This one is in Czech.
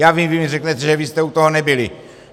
Já vím, vy mi řeknete, že vy jste u toho nebyli.